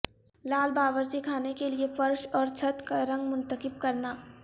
لال باورچی خانے کے لئے فرش اور چھت کا رنگ منتخب کرنا